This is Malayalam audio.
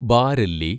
ബാരെല്ലി